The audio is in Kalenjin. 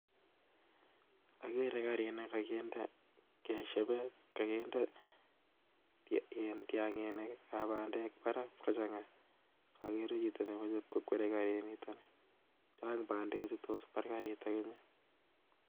Akere karit nekokinde tiang'inik ab bandek barak kochang'a. Akere chito nemoche iib kokwere karit niton, chang' bandechu tos bar karit iman